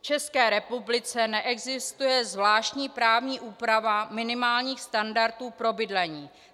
V České republice neexistuje zvláštní právní úprava minimálních standardů pro bydlení.